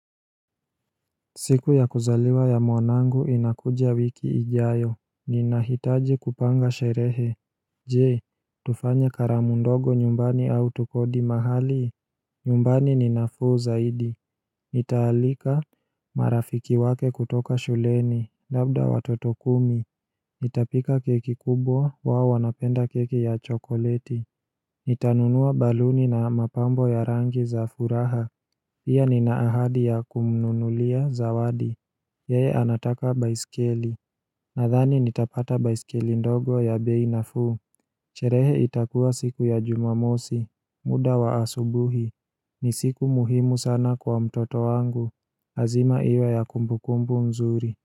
Siku ya kuzaliwa ya mwanangu inakuja wiki ijayo Ninahitaji kupanga sherehe Je, tufanye karamu ndogo nyumbani au tukodi mahali nyumbani ni nafuu zaidi nitaalika marafiki wake kutoka shuleni, labda watoto kumi nitapika keki kubwa wao wanapenda keki ya chokoleti nitanunua baluni na mapambo ya rangi za furaha Pia nina ahadi ya kumnunulia zawadi. Yeye anataka baiskeli. Nadhani nitapata baiskeli ndogo ya bei nafuu. Sherehe itakuwa siku ya jumamosi. Muda wa asubuhi. Ni siku muhimu sana kwa mtoto wangu. Lazima iwe ya kumbukumbu nzuri.